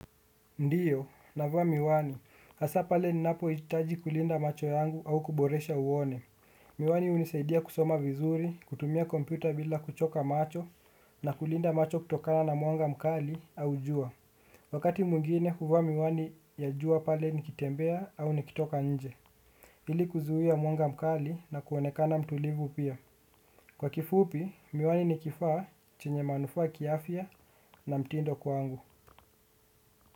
Ndio navaa miwani hasa pale ninapohitaji kulinda macho yangu au kuboresha uone. Miwani hunisaidia kusoma vizuri kutumia kompyuta bila kuchoka macho na kulinda macho kutokana na mwanga mkali au jua. Wakati mwingine huvaa miwani ya jua pale nikitembea au nikitoka nje ili kuzuia mwanga mkali na kuonekana mtulivu pia. Kwa kifupi miwani nikifaa chenye manufaa kiafya na mtindo kwangu.